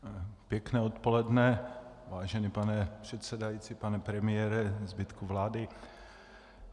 Pěkné odpoledne, vážený pane předsedající, pane premiére, zbytku vlády.